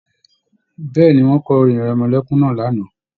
Bẹ̀ẹ́ni, wọn kọ orin-ìrẹmọlẹ́kún náà lánàá.